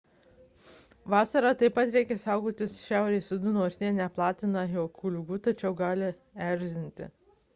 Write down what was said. vasarą taip pat reikia saugotis šiaurės uodų nors jie neplatina jokių ligų tačiau gali erzinti